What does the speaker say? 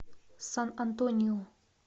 сан антонио